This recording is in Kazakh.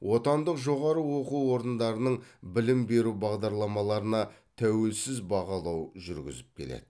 отандық жоғары оқу орындарының білім беру бағдарламаларына тәуелсіз бағалау жүргізіп келеді